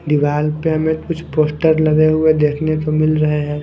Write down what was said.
दीवार पे हमें कुछ पोस्टर लगे हुए देखने को मिल रहे हैं।